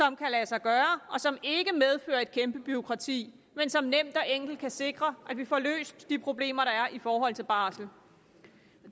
kan lade sig gøre og som ikke medfører et kæmpe bureaukrati men som nemt og enkelt kan sikre at vi får løst de problemer der er i forhold til barsel